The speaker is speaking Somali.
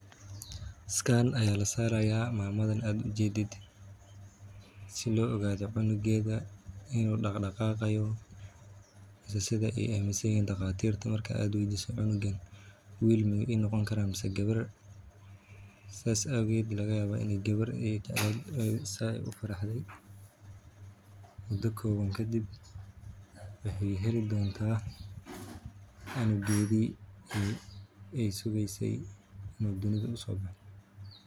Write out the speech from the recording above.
Scan Aya lasaraya mamadan ad ujedid sida lo ogado cunugeda inu daqdaqayo mise sida ey aminsanyihin daqatirta cunugan wil imanoqoni karo ama gawar sidas awgeed lagayawa in ey gawar tahay sidas ey ufaraxde mudo kowaan kadib wexey heli donta cunugedi ey sugeyse inu dunida usobexe.